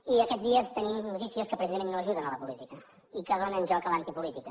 i aquests dies tenim notícies que precisament no ajuden la política i que donen joc a l’antipolítica